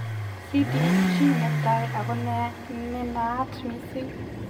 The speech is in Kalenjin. CDG netai A ko nenaat mising.